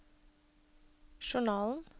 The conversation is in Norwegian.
journalen